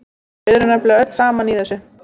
Við erum nefnilega öll saman í þessu.